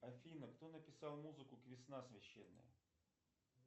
афина кто написал музыку к весна священная